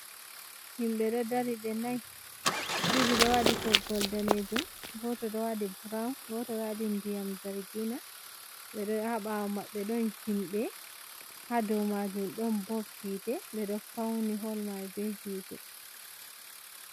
Himɓe ɗo dari ɓe nai ɗo waɗi toggol daneejum, goto ɗo waɗi burawon goto ɗo waɗi ndiyam zargina, ɓe ɗo ha ɓawo maɓɓe ɗon himɓe ha dou majum ɗon bob hiite ɓe ɗo fauni hol mai be hiite.